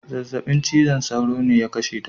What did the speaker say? Zazzaɓin cizon sauro ne ya kashe ta.